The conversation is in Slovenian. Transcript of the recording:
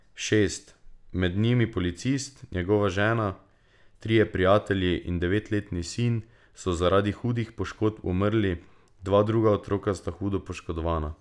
Šest, med njimi policist, njegova žena, trije prijatelji in devetletni sin, so zaradi hudih poškodb umrli, dva druga otroka sta hudo poškodovana.